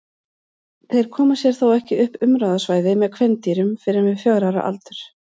Þeir koma sér þó ekki upp umráðasvæði með kvendýrum fyrr en við fjögurra ára aldur.